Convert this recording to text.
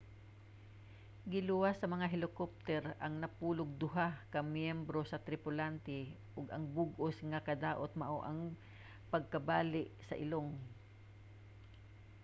giluwas sa mga helicopter ang napulog duha ka mga myembro sa tripulante ug ang bug-os nga kadaot mao ang pagkabali sa ilong